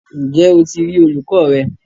Ǹjẹ́ o ti rí olùkọ rẹ?